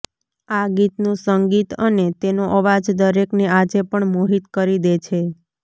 આ ગીતનું સં ગીત અને તેનો અવાજ દરેકને આજે પણ મોહિત કરી દે છે